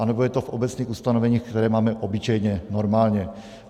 Anebo je to v obecných ustanoveních, které máme obyčejně, normálně.